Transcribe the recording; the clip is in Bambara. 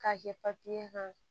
K'a kɛ kan